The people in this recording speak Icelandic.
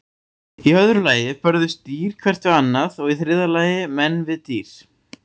Í öðru lagi börðust dýr hvert við annað og í þriðja lagi menn við dýr.